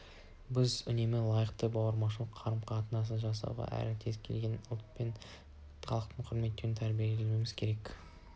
біз үнемі лайықты бауырмалдық қарым-қатынас жасауға әрі кез келген ұлт пен халықты құрметтеуге тәрбиелеуіміз керек